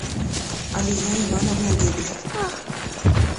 алия ивановна гебель